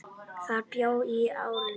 Þar bjó hún í áratug.